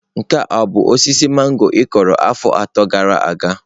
Nke a ọ bụ osisi mangọrọ ị kụrụ afọ atọ gara aga?